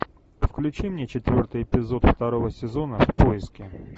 включи мне четвертый эпизод второго сезона в поиске